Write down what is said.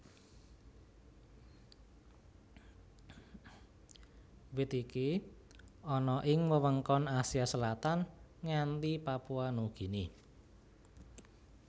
Wit iki ana ing wewengkon Asia Selatan nganti Papua Nugini